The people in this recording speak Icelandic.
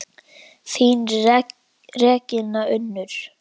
Þín Regína Unnur.